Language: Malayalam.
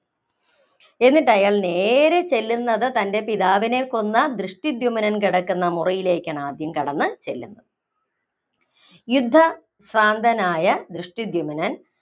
എന്നിട്ടയാള്‍ നേരേ ചെല്ലുന്നത് തന്‍റെ പിതാവിനെ കൊന്ന ദൃഷ്ടധ്യുമ്നൻ കിടന്ന മുറിയിലേക്കാണ് ആദ്യം കടന്ന് ചെല്ലുന്നത്. യുദ്ധ ഭ്രാന്തനായ ദൃഷ്ടധ്യുമ്നൻ